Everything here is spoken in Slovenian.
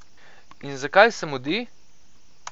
In zakaj se mudi?